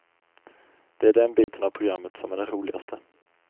Det är den biten av programmet som är den roligaste.